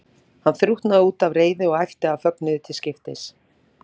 Hann þrútnaði út af reiði og æpti af fögnuði til skiptis.